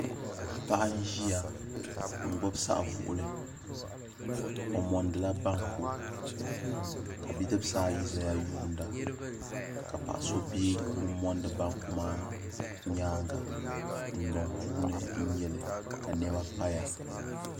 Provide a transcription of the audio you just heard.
Paɣa n ʒiya n gbubi saɣivuɣuli o mondila banku ka bidibsaayi ʒeya yuunda ka paɣaso be o ni mondi banku maa nyaaŋa dundɔŋ puuni n nyeli ka nɛma paya.